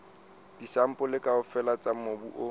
disampole kaofela tsa mobu o